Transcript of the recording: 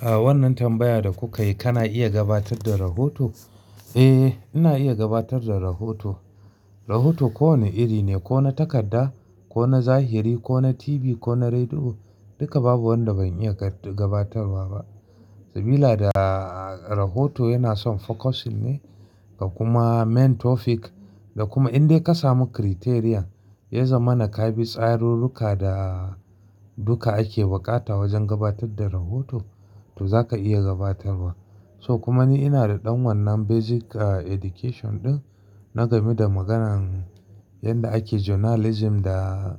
A wannan tambaya da kuka yi kana iya gabatar da rahoto? Eh, ina iya gabatar da rahoto. Rahoto kowane iri ne, ko na takarda, ko na zahiri, ko na TV, ko na rediyo, duka babu wanda ban iya gabatarwa ba. Sabida rahoto yana son focusing ne da kuma main topic da kuma in dai ka samu criterion, ya zama na ka bi tsarurruka da duka ake buƙata wajen gabatar da rahoto, to za ka iya gabatarwa. So kuma ni ina da ɗan wannan basic education ɗin na game da maganan yadda ake journalism da